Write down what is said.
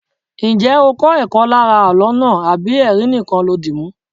Ǹjẹ́ ó kó ẹ̀kọ́ lára àló náà àbí ẹrin nìkan lo dìmú?